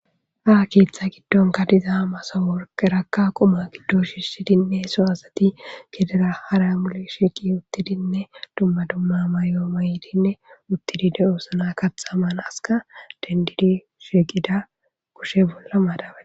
Ha keeththa giddonka diza masa worqerakka quma giddo shissidinne sohasati kedera haramuli sheeqi uttidinne dumma dumma mayo may7dinne uttidi de7o sna kaxaman aska dendidi sheeqida kushe bolla maadabae.